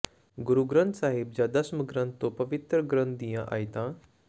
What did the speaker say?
ਗੁਰੂ ਗ੍ਰੰਥ ਸਾਹਿਬ ਜਾਂ ਦਸਮ ਗ੍ਰੰਥ ਤੋਂ ਪਵਿੱਤਰ ਗ੍ਰੰਥ ਦੀਆਂ ਆਇਤਾਂ